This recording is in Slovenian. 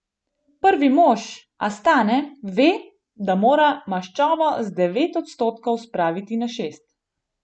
Prvi mož Astane ve, da mora maščobo z devet odstotkov spraviti na šest.